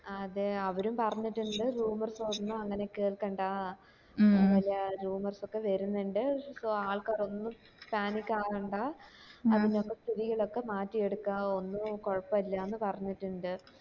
അത് അവരും പറഞ്ഞിട്ടിണ്ട് rumours ഒന്നും അങ്ങനെ കേൾക്കണ്ടാ പല rumours ഒക്കെ വരുന്നുണ്ട് പക്ഷെ ആൾക്കാര് ഒന്നും panic ആവണ്ട അതിന്റെ ഒക്കെ സ്ഥിതികൾ ഒക്കെ മാറ്റി എടുക്ക ഒന്ന് കൊഴുപ്പോ ഇല്ലാന്ന് പറഞ്ഞിട്ടിണ്ട്